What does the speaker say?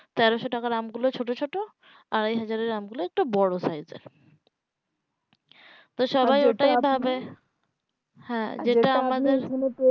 তেরোশো টাকার দাম গুলো ছোট ছোট আড়াই হাজার টাকার আম গুলো একটু বোরো size এর